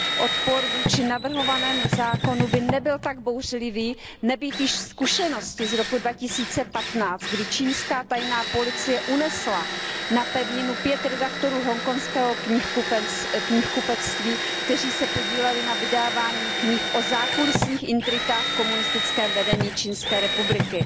Odpor vůči navrhovanému zákonu by nebyl tak bouřlivý nebýt již zkušenosti z roku 2015, kdy čínská tajná policie unesla na pevninu pět redaktorů hongkongského knihkupectví, kteří se podíleli na vydávání knih o zákulisních intrikách v komunistickém vedení Čínské republiky.